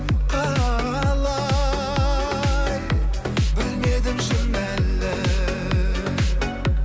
қалай білмедім шын әлі